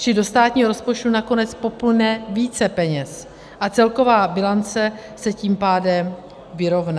Čili do státního rozpočtu nakonec poplyne více peněz a celková bilance se tím pádem vyrovná.